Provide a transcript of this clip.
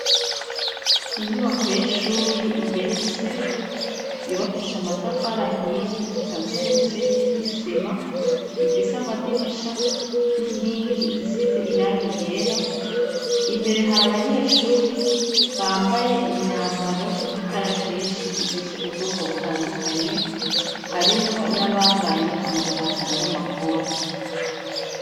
Inyubako y'ishuri igeretse yubakisha amatafarahiye ikaziye n'umusenyi n'idisima ifise amadirisha n'inkingi zisize iranga igera imbere hari abanyeshuri bambaye imyambaro y'ikarashishi ifise ubwoko butandukanye harimwo nabambaye amapantaro n'amakoti.